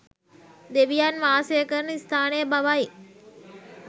දෙවියන් වාසය කරන ස්ථානය බවයි